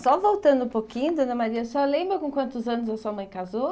Só voltando um pouquinho, Dona Maria, senhora lembra com quantos anos a sua mãe casou?